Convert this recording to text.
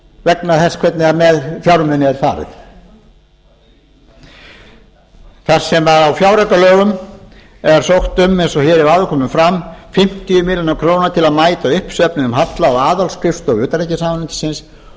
vegna þess hvernig með fjármuni er farið þar sem á fjáraukalögum er sótt um eins og hér hefur áður komið fram fimmtíu milljónir króna til að mæta uppsöfnuðum halla á aðalskrifstofu utanríkisráðuneytisins